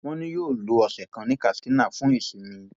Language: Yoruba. wọn ní yóò lo ọsẹ kan ní katsina fún ìsinmi